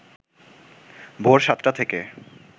ভোর সাতটা থেকে